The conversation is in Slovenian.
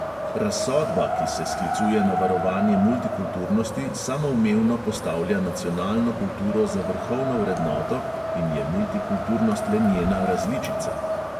Razsodba, ki se sklicuje na varovanje multikulturnosti, samoumevno postavlja nacionalno kulturo za vrhovno vrednoto in je multikulturnost le njena različica.